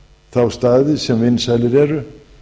þá staði sem vinsælir eru